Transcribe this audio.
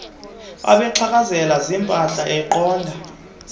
babexhakazela ziimpahla eqonda